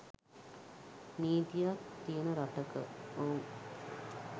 නීතියක් තියෙන රටක !ඔව්.